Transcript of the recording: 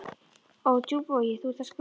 Á Djúpavogi, þú ert að skrökva